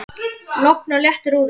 Logn og léttur úði.